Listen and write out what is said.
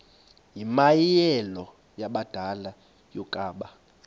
yimianelo yabadala yokaba